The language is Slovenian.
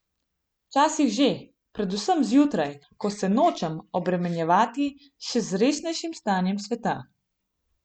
Včasih že, predvsem zjutraj, ko se nočem obremenjevati še z resnejšim stanjem sveta.